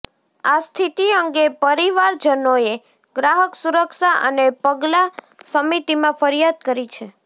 આ સ્થતિ અંગે પરિવારજનોએ ગ્રાહક સુરક્ષા અને પગલાં સમિતિમાં ફરિયાદ કરી છે